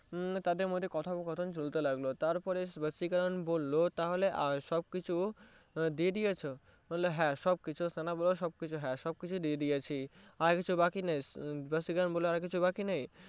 তাদের মধ্যে কথাবার্তা চলতে লাগলো তারপরে ভাসিকারান বললো সবকিছু দিয়ে দিয়েছো হ্যা সবকিছু সানা বললো হ্যা সবকিছু দিয়ে দিয়েছি আর কিছু বাকী নেই ভাসিকারান বললো আর কিছু বাকী নেই